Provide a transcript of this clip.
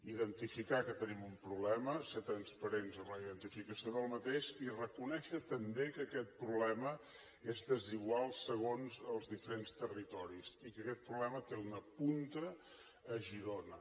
identificar que tenim un problema ser transparents en la identificació d’aquest i reconèixer també que aquest problema és desigual segons els diferents territoris i que aquest problema té una punta a girona